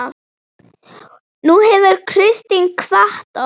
Nú hefur Kristín kvatt okkur.